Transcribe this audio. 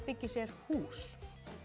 byggir sér hús